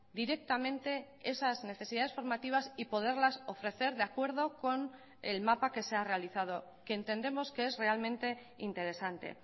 directamente esas necesidades formativas y poderlas ofrecer de acuerdo con el mapa que se ha realizado que entendemos que es realmente interesante